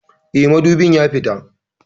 Eh, madubin ya fita